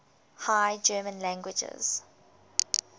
high german languages